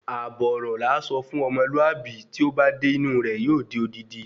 Ààbò ọrọ làá sọ fún ọ̀mọ́lùábí tí ó ba dé inú rẹ̀ yóò di odidi